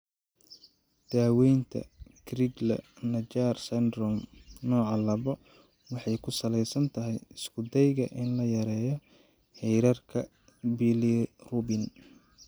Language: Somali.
Daawaynta Crigler Najjar syndrome, nooca labo waxay ku salaysan tahay isku dayga in la yareeyo heerarka bilirubin.